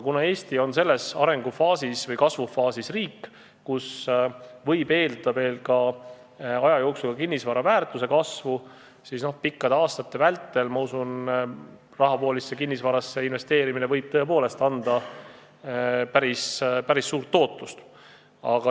Kuna aga Eesti on sellises arengu- või kasvufaasis riik, kus võib eeldada aja jooksul veel kinnisvara väärtuse kasvu, siis pikkade aastate vältel, ma usun, rahavoolisse kinnisvarasse investeerimine võib tõepoolest anda päris suurt tootlust.